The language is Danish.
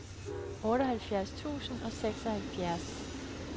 otteoghalvfjerds tusind og seksoghalvfjerds